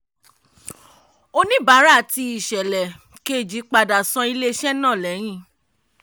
oníbàárà ti ìṣẹ̀lẹ̀ kejì padà san ilé iṣé náà lẹ́yìn.